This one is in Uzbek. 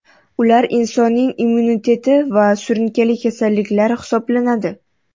Ular insonning immuniteti va surunkali kasalliklar hisoblanadi.